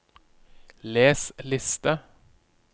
les liste